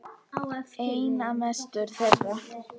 Einna mestur þeirra er